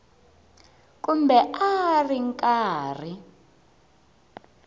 kumbe a a ri karhi